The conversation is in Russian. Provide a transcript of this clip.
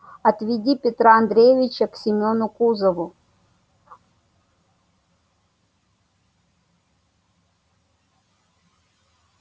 отведи петра андреича к семёну кузову